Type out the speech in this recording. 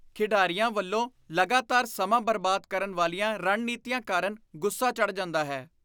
ਖਿਡਾਰੀਆਂ ਵੱਲੋਂ ਲਗਾਤਾਰ ਸਮਾਂ ਬਰਬਾਦ ਕਰਨ ਵਾਲੀਆਂ ਰਣਨੀਤੀਆਂ ਕਾਰਨ ਗੁੱਸਾ ਚੜ੍ਹ ਜਾਂਦਾ ਹੈ।